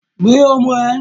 Gbe ọmọ rẹ!